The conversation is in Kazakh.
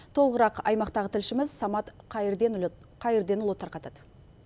толығырақ аймақтағы тілшіміз самат қайырденұлы тарқатады